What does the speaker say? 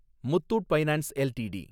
Muthoot finance LTD